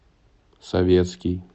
советский